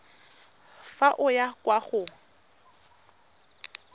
fa o ya kwa go